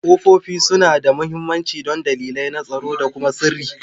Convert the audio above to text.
Ƙofofi suna da mahimmanci don dalilai na tsaro da kuma sirri